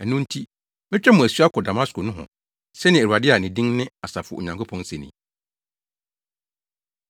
Ɛno nti, metwa mo asu akɔ Damasko nohɔ,” sɛnea Awurade a ne din ne Asafo Onyankopɔn se ni.